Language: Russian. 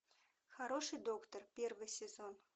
хороший доктор первый сезон